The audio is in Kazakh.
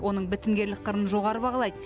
оның бітімгерлік қырын жоғары бағалайды